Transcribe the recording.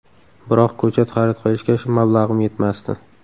Biroq ko‘chat xarid qilishga mablag‘im yetmasdi.